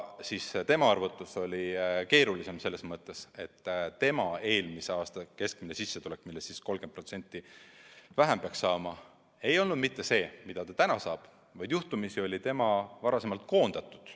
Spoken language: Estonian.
Tema puhul arvutus on keerulisem selles mõttes, et tema eelmise aasta keskmine sissetulek, millest 30% vähem peaks saama, ei olnud mitte see, mida ta praegu saab, vaid juhtumisi oli ta varasemalt koondatud.